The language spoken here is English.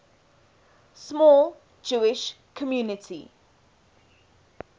small jewish community